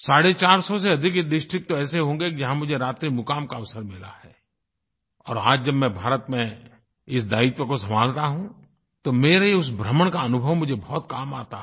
साढ़े चार सौ से अधिक डिस्ट्रिक्ट तो ऐसे होंगे जहाँ मुझे रात्रिमुक़ाम का अवसर मिला है और आज जब मैं भारत में इस दायित्व को संभाल रहा हूँ तो मेरे उस भ्रमण का अनुभव मुझे बहुत काम आता है